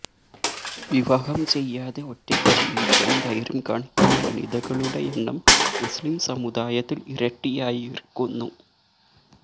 വിവാഹം ചെയ്യാതെ ഒറ്റയ്ക്കു ജീവിക്കാൻ ധൈര്യം കാണിക്കുന്ന വനിതകളുടെ എണ്ണം മുസ്ലിം സമുദായത്തിൽ ഇരട്ടിയായിരിക്കുന്നു